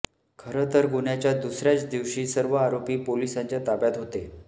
खरं तर गुन्ह्याच्या दुसर्याच दिवशी सर्व आरोपी पोलिसांच्या ताब्यात होते